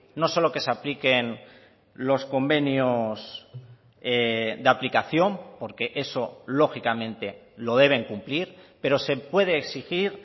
no solo que se apliquen los convenios de aplicación porque eso lógicamente lo deben cumplir pero se puede exigir